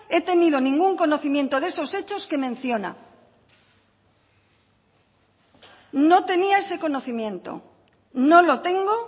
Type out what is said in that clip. he tenido ningún conocimiento de esos hechos que menciona no tenía ese conocimiento no lo tengo